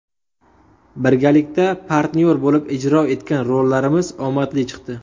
Birgalikda partnyor bo‘lib ijro etgan rollarimiz omadli chiqdi.